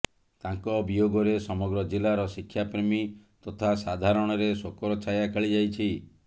ତାଙ୍କ ବିୟୋଗରେ ସମଗ୍ର ଜିଲ୍ଲାର ଶିକ୍ଷାପ୍ରେମୀ ତଥା ସାଧାରଣରେ ଶୋକର ଛାୟା ଖେଳିଯାଇଛି